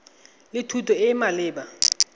le thuto e e maleba